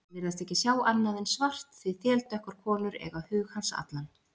Sem virðast ekki sjá annað en svart, því þeldökkar konur eiga hug hans allan.